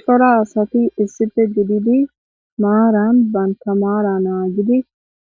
cora asati issife gididi maaran baynta maara naa gidi